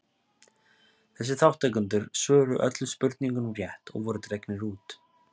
Þessir þátttakendur svöruðu öllum spurningunum rétt og voru dregnir út.